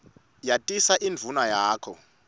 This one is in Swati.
yatisa indvuna yakho